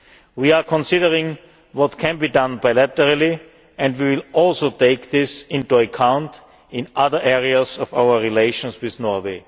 We are considering what can be done bilaterally and will also take this into account in other areas of our relations with Norway.